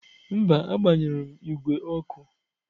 Mba, agbanyụrụ m igwe ọkụ.